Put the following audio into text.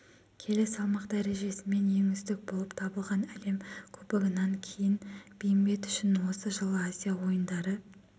келі салмақ дәрежесімен ең үздік болып табылған әлем кубогынан кейін бейімбет үшін осы жылы азия ойындары